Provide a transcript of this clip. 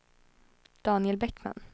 Daniel Bäckman